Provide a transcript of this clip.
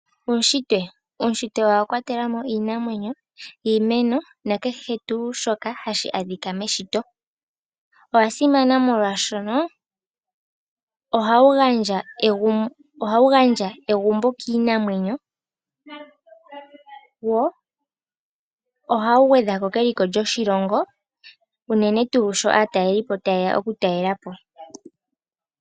Uunshitwe Uunshitwe owa kwatela mo iinamwenyo, iimeno nakehe tuu shoka hashi adhika meshito. Owa simana molwaashono ohawu gandja egumbo kiinamwenyo, wo ohawu gwedha ko keliko lyoshilongo unene tuu sho aatalelipo taye ya okutalela po.